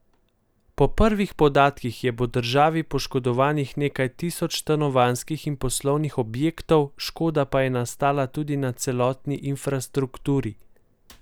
Po prvih podatkih je po državi poškodovanih nekaj tisoč stanovanjskih in poslovnih objektov, škoda pa je nastala tudi na cestni infrastrukturi.